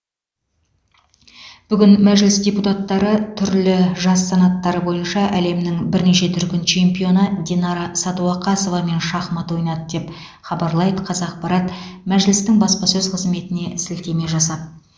бүгін мәжіліс депутаттары түрлі жас санаттары бойынша әлемнің бірнеше дүркін чемпионы динара сәдуақасовамен шахмат ойнады деп хабарлайды қазақпарат мәжілістің баспасөз қызметіне сілтеме жасап